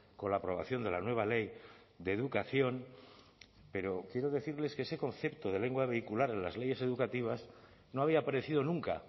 con la aprobación de la nueva ley de educación pero quiero decirles que ese concepto de lengua vehicular en las leyes educativas no había aparecido nunca